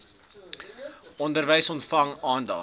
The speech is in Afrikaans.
onderwys ontvang aandag